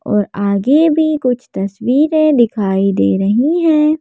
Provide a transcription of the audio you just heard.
और आगे भी कुछ तस्वीरें दिखाई दे रही हैं.